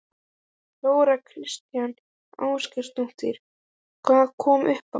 Þóra Kristín Ásgeirsdóttir: Hvað kom upp á?